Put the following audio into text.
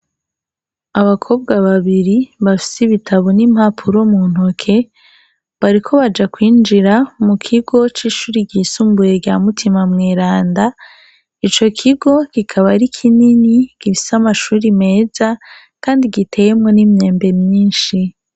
Abakobwa babiri bafis' ibitabo n' impapuro mu ntoke, bariko bajakwinjira mu kigo c' ishure ry' isumbuye rya Mutima Mweranda, ico kigo kikab' ari kinini gifis' amashure meza kandi giteyemwo n' imyembe myinshi.